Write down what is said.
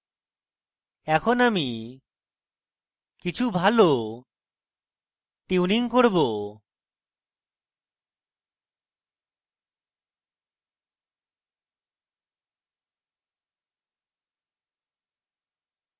এখন আমি কিছু ভালো tuning করব